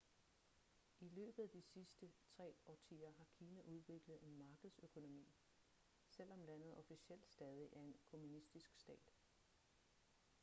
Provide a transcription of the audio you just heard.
i løbet af de sidste tre årtier har kina udviklet en markedsøkonomi selvom landet officielt stadig er en kommunistisk stat